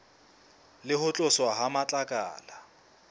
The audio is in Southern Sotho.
le ho tloswa ha matlakala